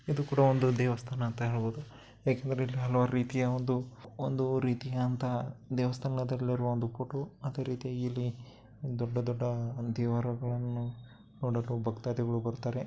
ಇದು ಕೂಡಾ ಒಂದು ದೇವಸ್ಥಾನ ಅಂತ ಹೇಳಬಹುದು ಯಾಕಂದರೆ ಇಲ್ಲಿ ಹಲವಾರು ರೀತಿಯ ಒಂದು ಒಂದು ರೀತಿಯಂತ ದೇವಸ್ತಾನದಲ್ಲಿರುವ ಒಂದು ಫೋಟೋ ಅದೆ ರೀತಿಯ ಇಲ್ಲಿ ದೊಡ್ಡ ದೊಡ್ಡ ದೇವರುಗಳನ್ನು ನೋಡಲು ಭಕ್ತಾದಿಗಳು ಬರುತಾರೆ.